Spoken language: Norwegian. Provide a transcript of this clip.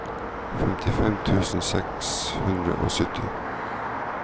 femtifem tusen seks hundre og sytti